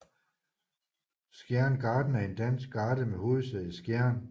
Skjern Garden er en dansk garde med hovedsæde i Skjern